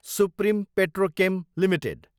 supreme Petrochem Ltd